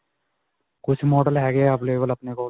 ਕੁੱਝ model ਹੈਗੇ ਹੈ, available ਆਪਣੇ ਕੋਲ.